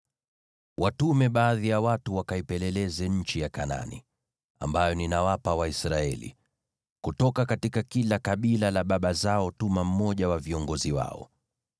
“Watume baadhi ya watu wakaipeleleze nchi ya Kanaani, ambayo ninawapa Waisraeli. Kutoka kwa kila kabila la baba zao, tuma mmoja wa viongozi wao.”